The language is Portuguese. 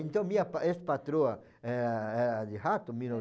Então, minha ex-patroa eh eh era de rato, em mil